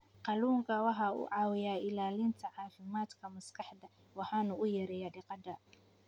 Kalluunku waxa uu caawiyaa ilaalinta caafimaadka maskaxda waxana uu yareeyaa diiqada.